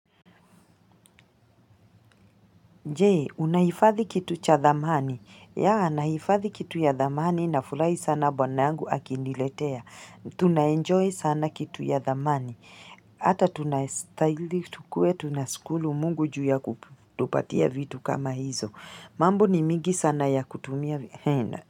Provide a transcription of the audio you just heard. Je, unahifadhi kitu cha dhamani. Ya, nahifadhi kitu ya dhamani nafurahi sana bwana angu akiniletea. Tunaenjoy sana kitu ya dhamani. Hata tunastahili tukue tunashukuru mungu ju ya kutupatia vitu kama hizo. Mambo ni mingi sana ya kutumia vitu.